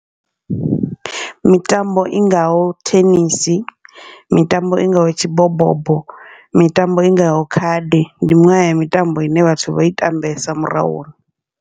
Mitambo i ngaho thenisi, mitambo i ngaho tshibobobo, mitambo i ngaho khadi, ndi miṅwe ya mitambo ine vhathu vho i tambesa murahu.